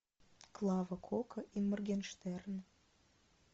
клава кока и моргенштерн